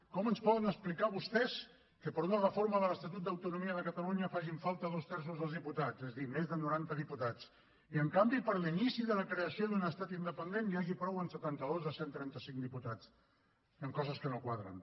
com ens poden explicar vostès que per a una reforma de l’estatut d’autonomia facin falta dos terços dels diputats és a dir més de noranta diputats i en canvi per a l’inici de la creació d’un estat independent n’hi hagi prou amb setanta dos de cent i trenta cinc diputats hi han coses que no quadren